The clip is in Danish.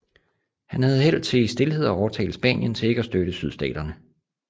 Han havde held til i stilhed at overtale Spanien til ikke at støtte Sydstaterne